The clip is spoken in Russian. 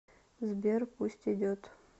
сбер пусть идет